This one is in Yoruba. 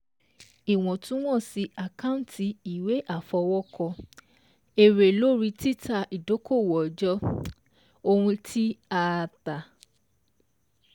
Ìwọ̀túnwọ̀sì àkántì ìwé àfọwọ́kọ: èrè lórí títa idokowó ọjọ́, ohun ti a a ta,